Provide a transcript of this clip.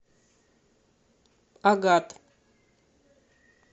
агат